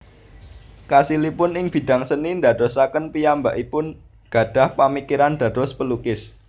Kasilipun ing bidang seni ndadosaken piyambakipun gadhah pamikiran dados pelukis